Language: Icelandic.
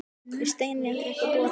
Þær Steinka búa auk þess í sama húsi.